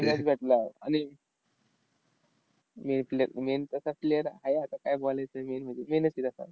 भेटला, आणि main play main तसा player आहे आता. काय बोलायचं main म्हणजे main च ते तसा.